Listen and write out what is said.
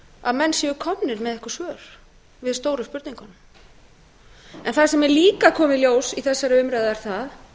að menn séu komnir með einhver svör við stóru spurningunum en það sem er líka að koma í ljós í þessari umræðu er það